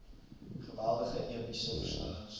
geweldige epiese versnellings